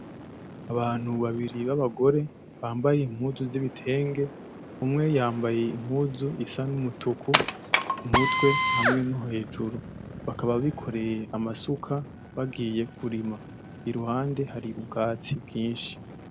Abantu babiri b'ababgore bambaye impuzu z'ibitenge umwe yambaye impuzu yambaye impuzu isa n'umutuku kumutwe hamwe no hejuru, bakaba bikoreye amasuka bagiye kurima. Iruhande hari ubwatsi bwinshi.